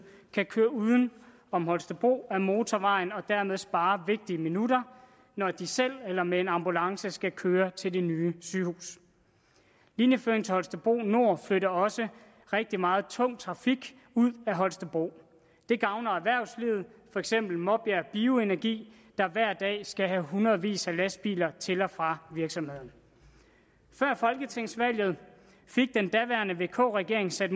kan køre uden om holstebro ad motorvejen og dermed spare vigtige minutter når de selv eller med en ambulance skal køre til det nye sygehus linjeføringen til holstebro nord flytter også rigtig meget tung trafik ud af holstebro det gavner erhvervslivet for eksempel maarbjerg bioenergy der hver dag skal have hundredevis af lastbiler til og fra virksomheden før folketingsvalget fik den daværende vk regering sat